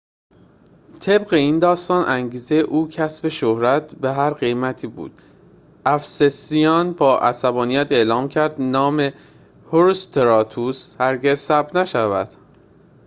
طبق این داستان انگیزه او کسب شهرت به هر قیمتی بود افسسیان با عصبانیت اعلام کردند نام هروستراتوس هرگز ثبت نشود